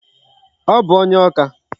Ọ bụ onye Awka.